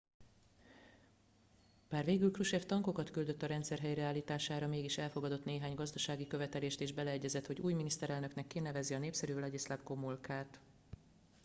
bár végül krushchev tankokat küldött a rendszer helyreállítására mégis elfogadott néhány gazdasági követelést és beleegyezett hogy új miniszterelnöknek kinevezi a népszerû wladyslaw gomulkat